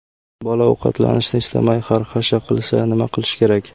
Bola ovqatlanishni istamay xarxasha qilsa, nima qilish kerak?.